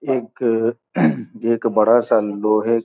एक एक बड़ा-सा लोहे --